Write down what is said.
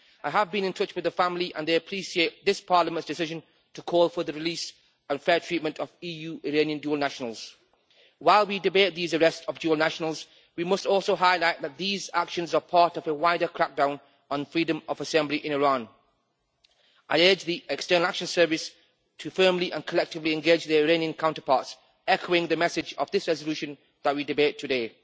I have been in touch with her family, and they appreciate this Parliament's decision to call for the release and fair treatment of EU Iranian dual nationals. While we debate these arrests of dual nationals, we must also highlight that these actions are part of a wider crackdown on freedom of assembly in Iran. I urge the External Action Service to firmly and collectively engage their Iranian counterparts, echoing the message of this resolution that we debate today.